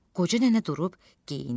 Qoca nənə durub geyindi.